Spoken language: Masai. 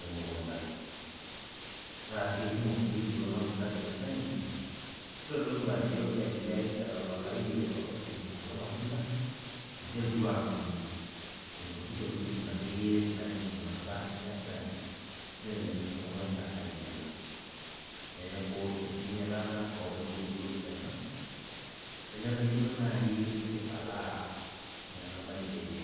emukunda, na kekumok sii kulo matunda tele shani, nitodolu ajo elelek etapalayie olopeny kulo matunda, amu iterutua atum inkuti tokiting akeyie nainosinosa nedany, nelelek eshomoita ainyala. Neeku enkinyalata onkaitubulu ena, nemenarikino nai nikipalaa metabai ene.